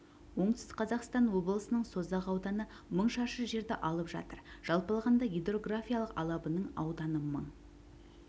оңтүстік қазақстан облысының созақ ауданы мың шаршы жерді алып жатыр жалпы алғанда гидрографиялық алабының ауданы мың